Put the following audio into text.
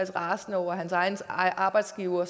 rasende over at hans egen arbejdsgiver